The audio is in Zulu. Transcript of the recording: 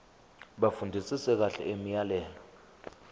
bafundisise kahle imiyalelo